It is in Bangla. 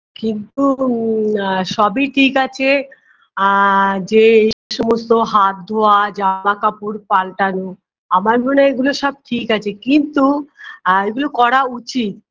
কিন্তু ম আ সবই ঠিক আছে আ যে এই সমস্ত হাত ধোয়া জামাকাপড় পাল্টানো আমার মনে হয় এগুলো সব ঠিক আছে কিন্তু আ এগুলো করা উচিত